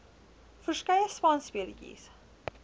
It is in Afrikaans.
verskeie spanspe letjies